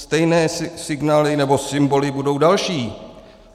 Stejné signály nebo symboly budou další.